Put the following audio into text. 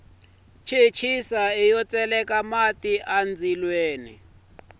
chechisa iya ku tseleka mati endzilweni